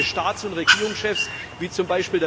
Und manche Staats und Regierungschefs, wie z.